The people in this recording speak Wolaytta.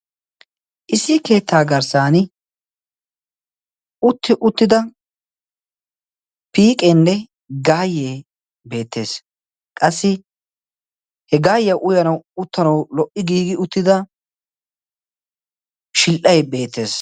Issi keettaa garssan utti uttida piiqenne gaayyee beettees. qassi he gaayya uyanau uttanau lo"i giigi uttida shil"ay beettees.